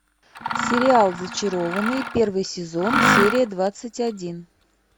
сериал зачарованные первый сезон серия двадцать один